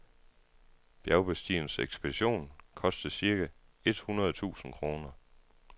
Bjergbestigerens ekspedition kostede cirka et hundrede tusind kroner.